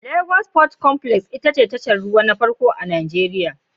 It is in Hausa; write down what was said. Lagos Port Complex ita ce tashar ruwa ta farko a Nijeriya.